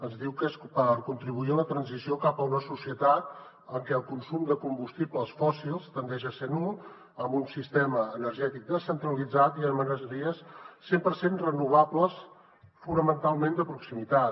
ens diu que és per contribuir a la transició cap a una societat en què el consum de combustibles fòssils tendeixi a ser nul amb un sistema energètic descentralitzat i amb energies cent per cent renovables fonamentalment de proximitat